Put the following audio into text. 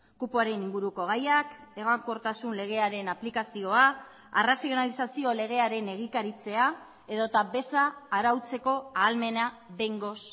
kupoaren inguruko gaiak egonkortasun legearen aplikazioa arrazionalizazio legearen egikaritzea edota beza arautzeko ahalmena behingoz